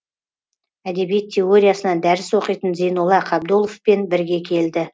әдебиет теориясынан дәріс оқитын зейнолла қабдоловпен бірге келді